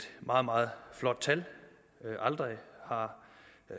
meget meget flot tal aldrig har